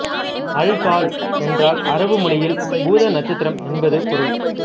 alcohol என்றால் அரபு மொழியில் பூத நட்சத்திரம் என்பது பொருள்